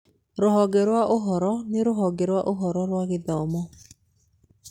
Rũhonge rwa ũhoro nĩ rũhonge rwa ũhoro rwa gĩthomo.